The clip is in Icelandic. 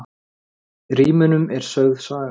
Í rímunum er sögð saga.